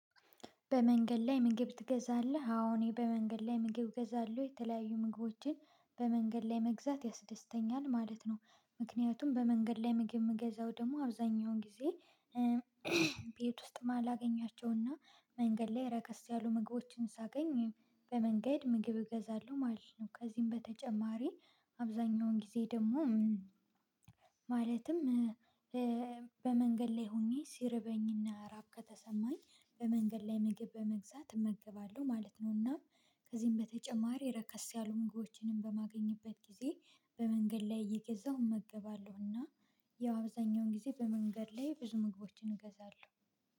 በመንገድ ላይ ምግብ ትገዛለህ? አሁን እኔ በመንገድ ላይ ምግብ እገዛለሁ የተለያዩ ምግቦችን በመንገድ ላይ መግዛት ያስደስተኛል ማለት ነው። ምክንያቱም በመንገድ ላይ ምግብ የምገዛው ደግሞ አብዛኛውን ጊዜ ቤት ውስጥ ማላገኛቸውና መንገድ ላይ ረከስ ያሉ ምግቦችን ሳገኝ በመንገድ ምግብ እገዛለሁ ማለት ነው። ከዚህም በተጨማሪ አብዛኛውን ጊዜ ደግሞ ማለትም በመንገድ ላይ ሆኜ ሲርበኝና ራብ ከተሰማኝ በመንገድ ላይ ምግብ በመግዛት እመግባለሁ ማለት ነው። እና ከዚህም በተጨማሪ ረከስ ያሉ ምግቦችንም በማገኝበት ጊዜ በመንገድ ላይ እየገዛሁ እመገባለሁ እና ያው አብዛኛውን ጊዜ በመንገድ ላይ ብዙ ምግቦችን እገዛለሁ